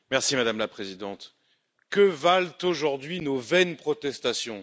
Madame la Présidente, que valent aujourd'hui nos vaines protestations?